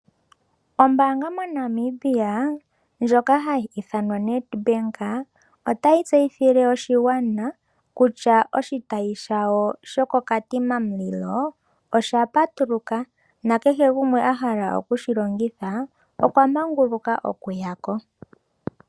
Ombaanga mo Namibia ndjoka hayi ithanwa Nedbank, otayi tseyithile oshingwana kutya oshitayi shawo shoko Katima Mulilo osha patuluka nakehe gumwe ahala okushilongitha okwamanguluka okuyako.